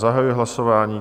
Zahajuji hlasování.